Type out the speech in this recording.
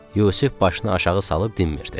Yusif başını aşağı salıb dinmirdi.